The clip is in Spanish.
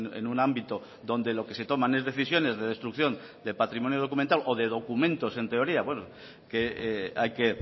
en un ámbito donde lo que se toman es decisiones de destrucción de patrimonio documental o de documentos en teoría que hay que